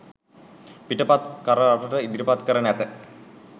පිටපත් කර රටට ඉදිරිපත් කර නැත.